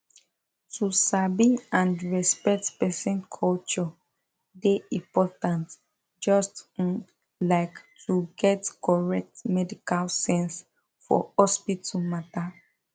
to sabi and respect person culture dey important just um like to get correct medical sense for hospital matter